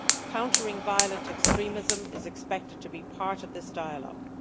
Countering violent extremism is expected to be part of this dialogue.